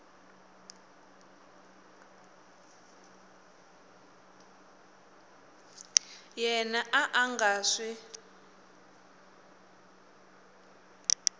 yena a a nga swi